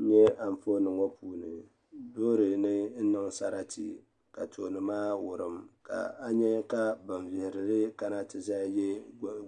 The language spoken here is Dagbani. N nyɛ anfooni ŋɔ puuni loori ni niŋ sarati ka tooni maa wurim ka a nyɛ ka ban lihirili kana ti yɛ